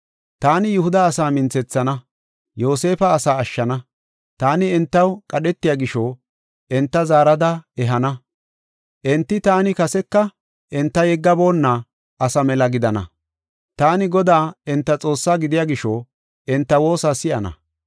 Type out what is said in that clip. “Taani Yihuda asaa minthethana; Yoosefa asaa ashshana. Taani entaw qadhetiya gisho, enta zaarada ehana. Enti taani kaseka enta yeggaboonna asa mela gidana. Taani Godaa enta Xoossaa gidiya gisho, enta woosa si7ana.